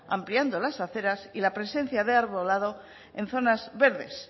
ampliando las aceras y la presencia de arbolado en zonas verdes